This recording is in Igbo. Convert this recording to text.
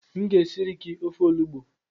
M ga-esiri gi ofe olugbo